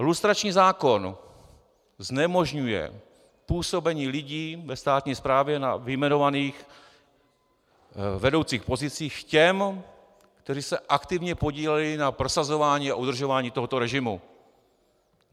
Lustrační zákon znemožňuje působení lidí ve státní správě na vyjmenovaných vedoucích pozicích těm, kteří se aktivně podíleli na prosazování a udržování tohoto režimu.